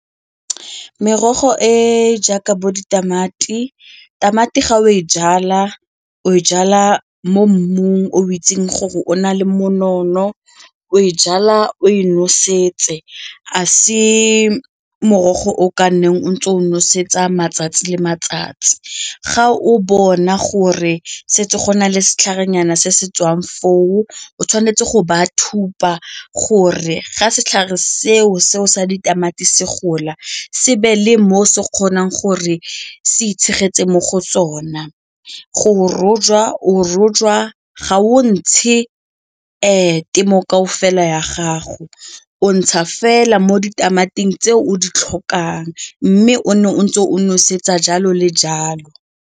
Merogo e jaaka bo ditamati, tamati ga o e jala o e jala mo mmung o itseng gore o na le monono, o e jala o e nosetse, a se morogo o ka nnang o ntse o nosetsa matsatsi le matsatsi, ga o bona gore setse go na le setlharenyana se se tswang foo, o tshwanetse go ba thusa gore ga setlhare seo se o sa ditamati se gola se be le moo se kgonang gore se itshegeletse mo go tsona. Go rojwa, o rojwa ga o ntshe ke moo kaofela ya gago o ntsha fela mo ditamati tse o di tlhokang mme o nne o ntse o nosetsa jalo le jalo.